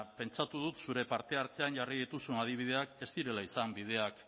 pentsatu dut zure parte hartzean jarri dituzuen adibideak ez direla izan bideak